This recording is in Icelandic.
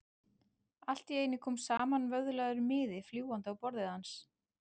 Allt í einu kom samanvöðlaður miði fljúgandi á borðið hans.